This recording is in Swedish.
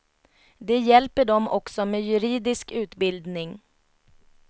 De hjälper dem också med juridisk utbildning.